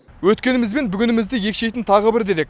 өткеніміз бен бүгінімізді екшейтін тағы бір дерек